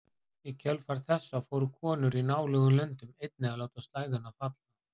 Í kjölfar þessa fóru konur í nálægum löndum einnig að láta slæðuna falla.